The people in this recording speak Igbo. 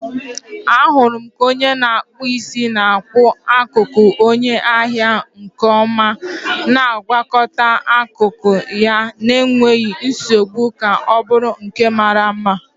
Ahụrụ m ka onye na-akpụ isi na-akpụ ntutu onye ahịa nke ọma, na-agwakọta akụkụ ya n'enweghị nsogbu ka ọ bụrụ nke mara mma.